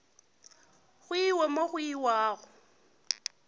go iwe mo go iwago